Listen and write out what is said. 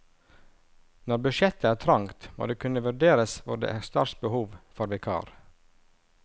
Når budsjettet er trangt må det kunne vurderes hvor det er størst behov for vikar.